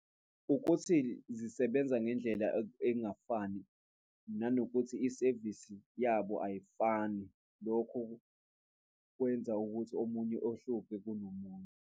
Ukuthi zisebenza ngendlela engafani nanokuthi isevisi yabo ayifani. Lokhu kwenza ukuthi omunye ohluphe kunomunye.